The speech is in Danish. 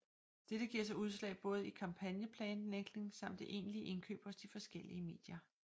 Dette giver sig udslag både i kampagneplanlægning samt det egentlige indkøb hos de forskellige medier